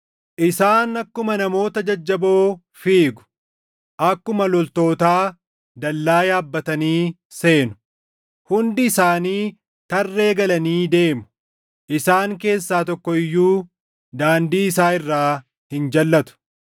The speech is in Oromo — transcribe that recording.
Isaan akkuma namoota jajjaboo fiigu; akkuma loltootaa dallaa yaabbatanii seenu. Hundi isaanii tarree galanii deemu; isaan keessaa tokko iyyuu daandii isaa irraa hin jalʼatu.